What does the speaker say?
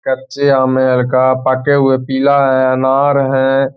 कच्चे का पके हुए पीला है अनार है।